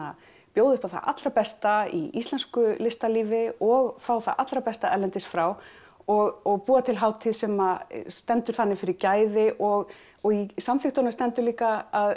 bjóða upp á það allra besta í íslensku listalífi og fá það allra besta erlendis frá og búa til hátíð sem stendur þannig fyrir gæði og og í samþykktunum stendur líka að